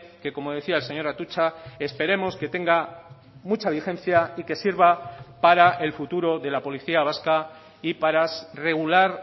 que como decía el señor atutxa esperemos que tenga mucha vigencia y que sirva para el futuro de la policía vasca y para regular